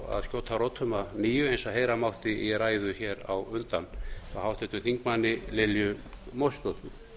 að skjóta rótum að nýju eins og heyra mátti í ræðu á undan hjá háttvirtum þingmanni lilju mósesdóttur